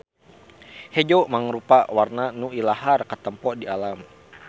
Hejo mangrupa warna nu ilahar katempo di alam.